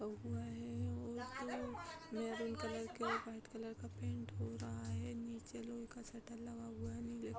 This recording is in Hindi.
हुआ है और महरून कलर का व्‍हाईट कलर का पेंट हो रहा है | नीचे लोहे का शटर लगा हुआ है | नीले --